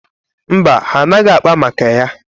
Mba, ha anaghị akpa maka ya?